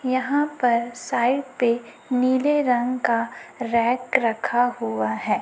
यहां पर साइड पे नीले रंग का रैक रखा हुआ है।